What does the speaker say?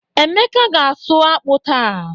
Emeka ga-asụ akpụ taa.